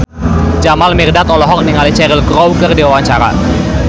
Jamal Mirdad olohok ningali Cheryl Crow keur diwawancara